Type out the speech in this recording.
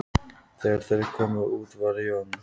Þegar þeir komu út var Jón